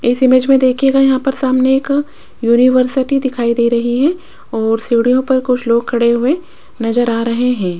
इस इमेज में देखिएगा यहां पर सामने एक यूनिवर्सिटी दिखाई दे रही है और सीढ़ियों पर कुछ लोग खड़े हुए नजर आ रहे हैं।